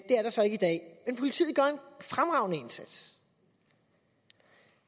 fremragende indsats